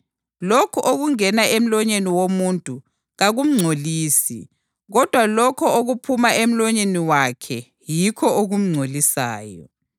Lokho okungena emlonyeni womuntu ‘kakumngcolisi’ kodwa lokho okuphuma emlonyeni wakhe yikho ‘okumngcolisayo.’ ”